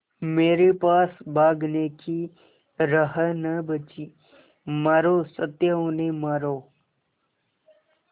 मेरे पास भागने की राह न बची मारो सत्या उन्हें मारो